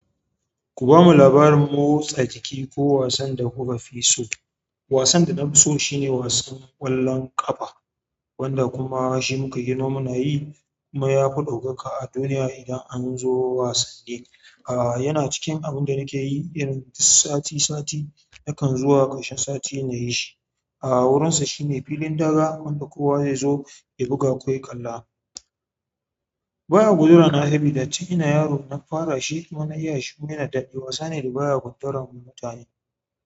Ku ba mu labarin motsa jiki ko wasan da ku ka fi so. Wasan da na fi so shi ne wasan ƙwallon ƙafa wanda kuma shi mu ka girma muna yi. Kuma ya fi ɗaukaka a duniya idan an zo wasanni. Ah, yana cikin abun da na ke yi irin duk sati sati na kan zo a ƙarshen sati na yi shi. A wurinsa shi ne filin daga wanda kowa zai zo ya buga ko ya kalla. Ba ya gundurana sabida tin ina yaro na fara shi kuma na iya shi. Kuma yana da daɗi, wasa ne da baya guntaran mutane.